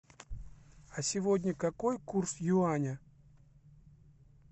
а сегодня какой курс юаня